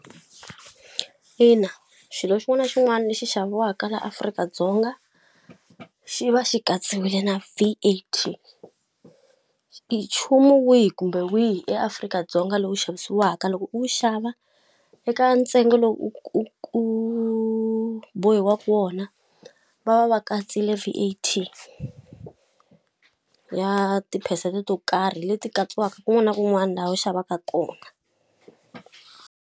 Ina xilo xin'wana na xin'wana lexi xaviwaka laha Afrika-Dzonga xi va xi katsiwile na V_A_T. I nchumu wihi kumbe wihi eAfrika-Dzonga lowu xavisiwaka loko u xava, eka ntsengo lowu u u u bohiwaka wona va va va katsile V_A_T ya tiphesente to karhi leti katsiwaka kun'wana na kun'wana laha u xavaka kona.